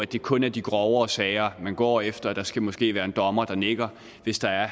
det kun er de grovere sager man går efter og der skal måske være en dommer der nikker hvis der er